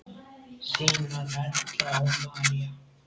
Þínar Erla og María.